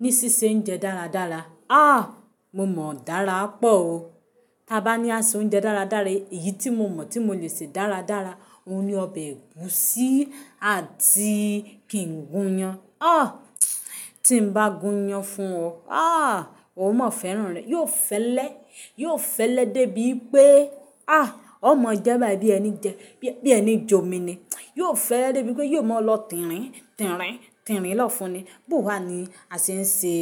Ní ṣíṣe oúnjẹ dáradára. Ah! Mo mọ̀ dára pọ̀ o. Tí a bá ní a ṣe oúnjẹ dáradára, èyí tí mo mọ̀ tí mo lè ṣe dáradára, òun ni ọbẹ̀ ẹ̀gúsí àti kìnn gun iyán. Ah! Tí mo bá gun iyán fún ọ, aah! Ò ò mọ fẹ́ràn rẹ̀, yóò fẹ́lẹ́, yóò fẹ́lẹ́ dé bí pé, ah! Ó mọ jẹ́ bẹ́ẹ̀ bí ẹni jẹ́, bí ẹni jómi ni. Yóò fẹ́lẹ́ dé bí pé yóò mọ lọ tìrín, tìrín, tìrín lọ́fun ni. Bo wá ni a ṣe ń ṣe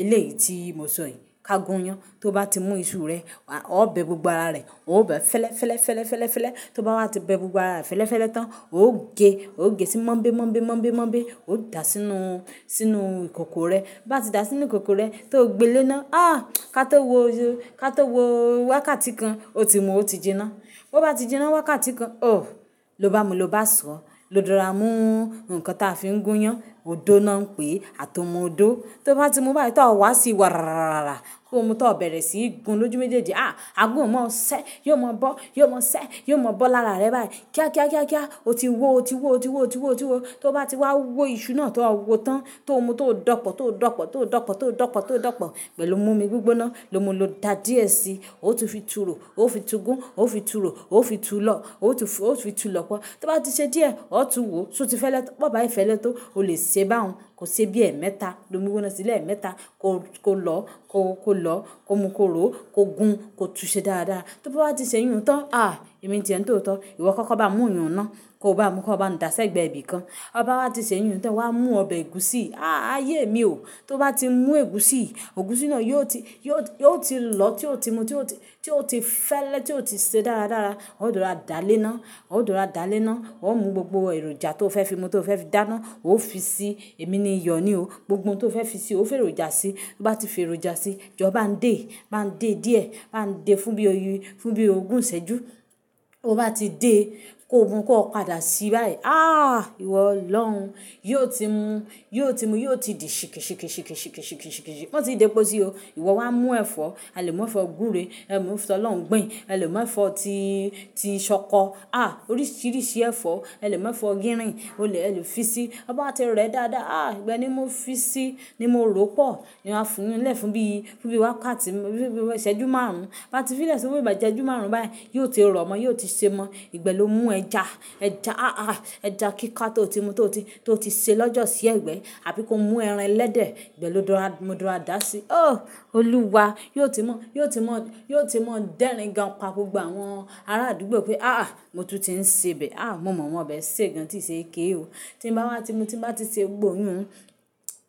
eléyìí tí mo sọ yìí. Ka gun iyán, tí ó bá ti mu iṣu rẹ̀, wàá, ó bẹ gbogbo ara rẹ̀. Ó bẹ fẹ́lẹ́, fẹ́lẹ́, fẹ́lẹ́, fẹ́lẹ́, fẹ́lẹ́. Tí ó bá wá ti bẹ gbogbo ara rẹ̀ fẹ́lẹ́, fẹ́lẹ́ tán, ó gé, ó gé sí mọ́ḿbé, mọ́ḿbé, mọ́ḿbé, mọ́ḿbé. Ó dà sínú, sínú ìkòkò rẹ̀. Bo bá ti dà sínú ìkòkò rẹ̀, tí ó gbe léná, ah! Ká tó wọ, ká tó wọ wákàtí kan, ó ti mu ó ti jinná. Bo bá ti jinná wákàtí kan, oh! Lo bá mu, lo bá sọ. Lo dora mú nǹkan tí a fi ń gun iyán, òódo náà pé, àtomo ódo. Tí ó bá ti mu bá tí ó wá sí wàràràràràrà, tó mu tó bẹ̀rẹ̀ sí gun lójúméjèèjì, ah! Aagun ò mọ ṣẹ́, yóò mọ bọ́, yóò mọ ṣẹ́, yóò mọ bọ́ láràá rẹ báyìí. Kíá, kíá, kíá, kíá, ó ti wó, ó ti wó, ó ti wó, ó ti wó, ó ti wó. Tí ó bá ti wá wó iṣu náà tó ó wọ tán, tó mu tó ò danpọ̀, tó ò danpọ̀, tó ò danpọ̀, tó ò danpọ̀, tó ò danpọ̀. Gbẹ̀ lo mu omi gbígbóná, lo mú u lo dà díẹ̀ síi. Ó tún fi turo, ó fi tu gun, ó fi turo, ó fi tu lọ́, ó tún f-- ó fi tu lọ́pọ̀. Tí ó bá ti ṣe díẹ̀, ó tún wò. Se ó ti fẹ́lẹ́, bi ó bá ì fẹ́lẹ́ tó, ó lè ṣe bá hun. Ko ṣe bí ẹ̀ẹ̀mẹ́ta, domi gbígbóná sílẹ̀ ẹ̀ẹ́mẹ́ta. Ko, ko lọ́, ko, ko lọ́, ko mu kó ró, ko gun, ko tu ṣe dáradára. Tí ó bá ti ṣe yùn tán, ah! Emí ti ẹ́ ńitootọ́. Ìwọ kọ́ kó bá mú yún náà, ko bá mu kó bá mú dàá sẹ́gbẹ̀ bí kan. Bo o bá wa bá ti ṣe iyùn tán, wàá mú ọbẹ̀ ẹ̀gúsí. Ah! Ayé mi o. Tí ó bá ti mú ẹ̀gúsí, ẹ̀gúsí náà yóò ti, yóò ti, yóò ti lọ́ tí ó ti mu, tí ó ti, tí ó ti fẹ́lẹ́, tí ó ti ṣe dáradára. Ó ó dora dá lé ná, ó ó dora dá lé ná. Ó mú gbogbo èròjà tó fẹ́ fi mu tó fẹ́ fi dáná, ó fi sí. Èmi ni iyọ̀ ni o. Gbogbo ohun tó fẹ́ fi síi, ó fi èròjà sí. Bí ó bá ti fi èròjà sí, jọ bá ń dé, bá ń dé díẹ̀, máa ń dé fún bí oy-- fún bí ogún ìsẹ́jú. Bo bá ti dé, ko mu kó padà sí báyìí. Ah! Ìwọ Olọrun. Yóò ti mu, yóò ti mu, yóò ti di ṣíkì ṣíkì ṣíkì ṣíkì ṣíkì ṣíkì ṣíkì ṣíkì. Máa ti dé pọ̀ sí i o. Ìwọ wá mú ẹ̀fọ́, a lè mú ẹ̀fọ́ gbúre, ẹ mú ń fi sọ lọ́hùn gbìn, ẹ lè mú ẹ̀fọ́ tí, tí ìṣọkọ. Ah! Oríṣìíríṣìí ẹ̀fọ́, ẹ lè mú ẹ̀fọ́ gírín, o lè, ẹ lè fi si. Bo bá bá ti rẹ̀ ẹ́ dáadáa, ah! Ìgbẹ́ ni mo fi si, ni mo rò ó pọ̀. E máa fi yún lẹ́ fún bí, fún bí wákàtí, fún bí ìsẹ́jú márùn-ún. Bá ti fi lẹ́si fún bí ìgbà ìsẹ́jú márùn-ún báyìí, yóò ti rọ̀ mọ́, yóò ti ṣe mọ́. Ìgbẹ́ lo mú ẹja, ẹja, ah! Ah! Ẹja kíkà tó ti mu tó ti, tó ti ṣe lọ́jọ́ sí ẹ̀gbẹ́, àbí kó mú ẹran ẹlẹ́dẹ̀. Ìgbẹ́ lọ dára, mo dára dà si. Oh! Olúwa! Yóò ti mọ́, yóò ti mọ́, yóò ti mọ́ dẹ́ringán pa gbogbo àwọn ará àdúgbò pé, ah! Ah! Mo tún ti ń ṣe ibẹ̀. Ah! Mo mọ̀ ò mọ̀ on ọbẹ̀ e ṣe gan tí ì ṣe ike o. Tí mo bá wá ti mu, tí mo bá ti ṣe gbogbo oyún,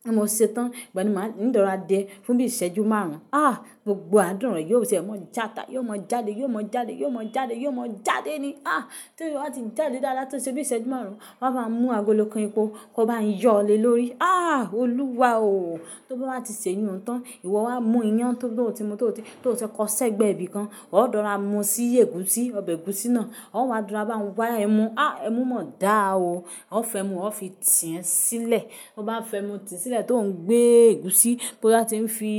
tí mo ṣe tán, ìgbẹ́ ni màá ní dára dè ẹ́ fún bí ìsẹ́jú márùn-ún. Ah! Gbogbo á dùn rọ̀. Yóò sì mọ játa, yóò mọ jáde, yóò mọ jáde, yóò mọ jáde, yóò mọ jáde ni. Ah! Tí ó bá ti jáde dáadáa, tí ó ṣe bí ìsẹ́jú márùn-ún, wàá bá mú agolo kan ipò, ko bá a yọlé lórí. Ah! Olúwa o. Tí ó bá ti ṣe iyùn tán, ìwọ wá mú iyán tó, tó ti mu tó ti, tó ti kọ́ sẹ́gbẹ̀ bí kan. Ó ó dára mu sí i ẹ̀gúsí, ọbẹ̀ ẹ̀gúsí náà. Ó wa dora bá n wa ẹmu. Ah! Ẹmu mọ̀ọ́ dáa o. Ó fẹ́ mu, ó fi tì ẹ́n sílẹ̀. Bo bá fẹ́ mu tì í sílẹ̀ tó ń gbé ẹ̀gúsí, bó bá ti ń fi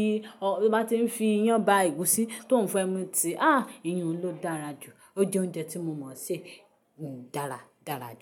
ọ-- bó bá ti ń fi iyán bá ẹ̀gúsí tó ń fẹ́ ẹmu tì í, ah! Iyùn ló dára ju, o je oúnjẹ ti.